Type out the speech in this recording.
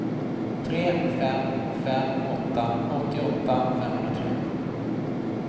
tre fem fem åtta åttioåtta femhundratre